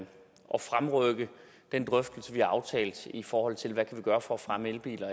fremrykke den drøftelse vi har aftalt i forhold til hvad vi kan gøre for at fremme elbiler